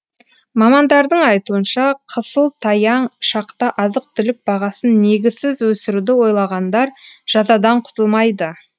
мамандардың айтуынша қысыл таяң шақта азық түлік бағасын негізсіз өсіруді ойлағандар жазадан құтылмайды